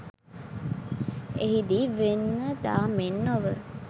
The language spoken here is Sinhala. එහිදී වෙන දා මෙන් නොව